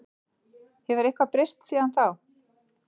Hefur eitthvað breyst síðan þá?